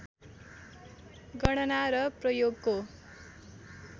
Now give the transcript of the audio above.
गणना र प्रयोगको